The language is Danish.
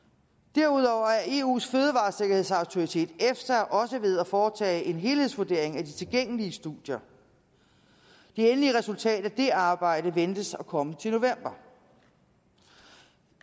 derudover er eus fødevaresikkerhedsautoritet efsa også ved at foretage en helhedsvurdering af de tilgængelige studier det endelige resultat af det arbejde ventes at komme til november